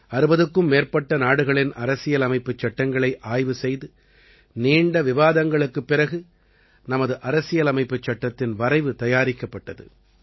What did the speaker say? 60க்கும் மேற்பட்ட நாடுகளின் அரசியலமைப்புச் சட்டங்களை ஆய்வு செய்து நீண்ட விவாதங்களுக்குப் பிறகு நமது அரசியலமைப்புச் சட்டத்தின் வரைவு தயாரிக்கப்பட்டது